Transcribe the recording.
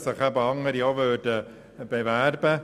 Es können, sich also auch andere Orte bewerben.